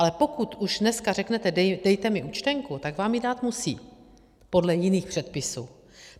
Ale pokud už dneska řeknete dejte mi účtenku, tak vám ji dát musí, podle jiných předpisů.